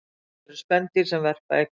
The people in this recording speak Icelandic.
Til eru spendýr sem verpa eggjum